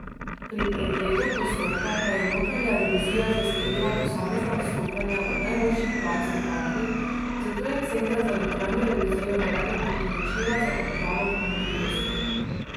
Pri pregledu postopka pa je notranja revizija zasledila posamezna odstopanja od najboljših praks v banki, zato je center za notranjo revizijo navedel priporočila za odpravo pomanjkljivosti.